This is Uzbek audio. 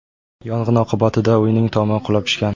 Yong‘in oqibatida uyning tomi qulab tushgan.